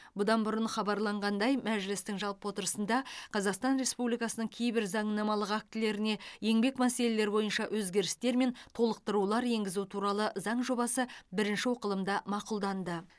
бұдан бұрын хабарланғандай мәжілістің жалпы отырысында қазақстан республикасының кейбір заңнамалық актілеріне еңбек мәселелері бойынша өзгерістер мен толықтырулар енгізу туралы заң жобасы бірінші оқылымда мақұлданды